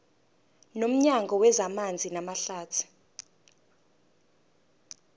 nomnyango wezamanzi namahlathi